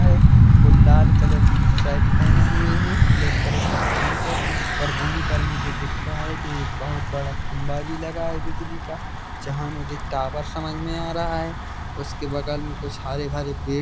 और लाल कलर की शर्ट पहने हुये है ब्लैक कलर का पैंट और वहीं पर मुझे दिख रहा है की एक बहुत बड़ा खंबा भी लगा है बिजली का जहाँ मुझे टावर समज में आ रहा है उसके बगल में कुछ हरे-भरे पेड़ भी दिख--